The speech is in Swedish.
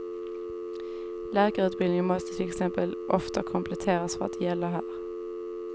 Läkarutbildning måste till exempel ofta kompletteras för att gälla här.